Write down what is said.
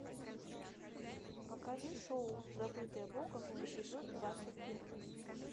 покажи шоу забытые богом эпизод двадцать первый